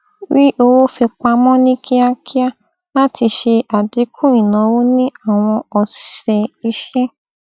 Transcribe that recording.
rí owó fi pamọ ní kíákíá láti ṣe àdínkù ìnáwó ní àwọn ọsẹ iṣẹ